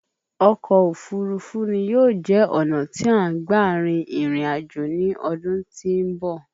Ọkọ̀ òfurufú ni yóò jẹ́ ọ̀nà tí à ń gba rin ìrìn àjò ní ọdún tí ń bọ̀